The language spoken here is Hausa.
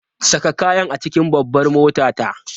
Saka kayan a cikin babbar motata!